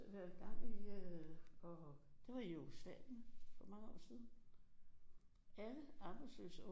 Vi har været i gang i det var i Jugoslavien for mange år siden alle arbejdsløse unge